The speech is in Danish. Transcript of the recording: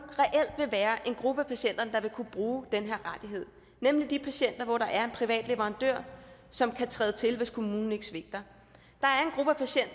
vil være en gruppe af patienterne der vil kunne bruge den her rettighed nemlig de patienter hvor der er en privat leverandør som kan træde til hvis kommunen svigter